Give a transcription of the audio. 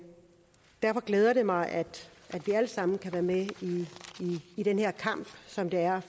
derfor glæder det mig at vi alle sammen kan være med i den her kamp som det er